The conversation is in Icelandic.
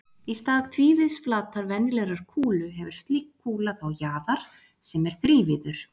Í stað tvívíðs flatar venjulegrar kúlu hefur slík kúla þá jaðar sem er þrívíður.